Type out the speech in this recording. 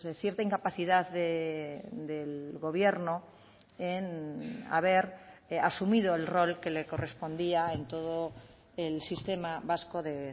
cierta incapacidad del gobierno en haber asumido el rol que le correspondía en todo el sistema vasco de